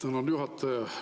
Tänan, juhataja!